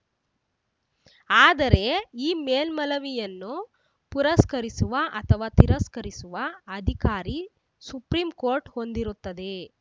ಆದರೆ ಈ ಮೇಲ್ಮಲವಿಯನ್ನು ಪುರಸ್ಕರಿಸುವ ಅಥವಾ ತಿರಸ್ಕರಿಸುವ ಅಧಿಕಾರಿ ಸುಪ್ರೀಂ ಕೋರ್ಟ್‌ ಹೊಂದಿರುತ್ತದೆ